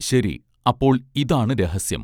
ശരി അപ്പോൾ ഇതാണ് രഹസ്യം